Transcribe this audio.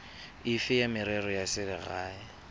efe ya merero ya selegae